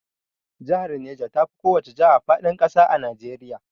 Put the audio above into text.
Jahar Neja tafi kowace jaha faɗin ƙasa a Najeriya